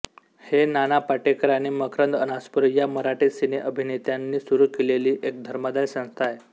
हे नाना पाटेकर आणि मकरंद अनासपुरे या मराठी सिनेअभिनेत्यांनी सुरू केलेली एक धर्मादाय संस्था आहे